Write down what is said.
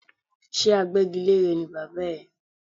Ṣé agbẹ́gilére ni bàbá ẹ?